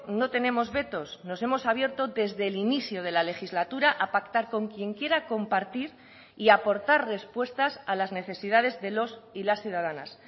no tenemos vetos nos hemos abierto desde el inicio de la legislatura a pactar con quien quiera compartir y aportar respuestas a las necesidades de los y las ciudadanas